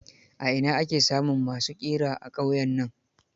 A ina ake samun ma su ƙira a ƙauyen nan?